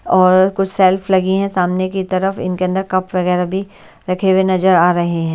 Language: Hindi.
और कुछ सेल्फ लगी हैं सामने की तरफ इनके अंदर कप वगैरह भी रखे हुए नजर आ रहे हैं।